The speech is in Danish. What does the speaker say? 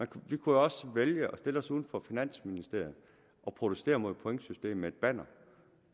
kunne jo også vælge at stille os uden for finansministeriet og protestere mod pointsystemet med et banner